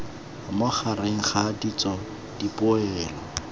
mo gareg ga ditso dipoelo